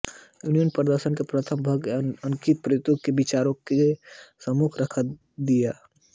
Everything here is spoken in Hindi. यूनानी दर्शन के प्रथम भाग ने निम्नांकित प्रत्ययों को विचारकों के सम्मुख रख दिया